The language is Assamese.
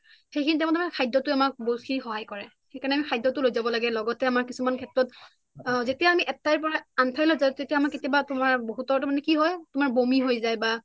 সেইখিনি time ত তাৰ মানে খাদ্যতুই আমাক বহুত খিনি সহয় কৰে সেইকাৰণে আমি খাদ্য টো লৈ যাব লাগে লগতে আমাৰ কিছুমান ক্ষেত্ৰত যেতিয়া আমি এক ঠাইৰ পৰা আন ঠাইলৈ যাও তেতিয়া আমাৰ কেটিয়াবা আমাৰ বহুতৰ মানে কি হয় তোমাৰ বমি হৈ যায় বা